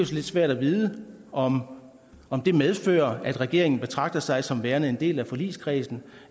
så lidt svært at vide om om det medfører at regeringen betragter sig som værende en del af forligskredsen